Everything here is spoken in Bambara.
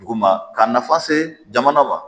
Duguma ka nafa se jamana ma